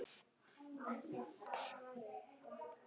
Samt mjög sæt og góð